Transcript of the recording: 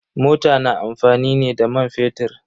Mota na amfani ne da man fetir.